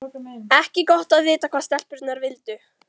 Ekki gott að vita hvað stelpurnar vildu.